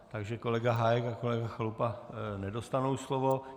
Takže kolega Hájek a kolega Chalupa nedostanou slovo.